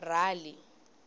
rali